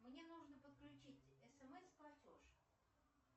мне нужно подключить смс платеж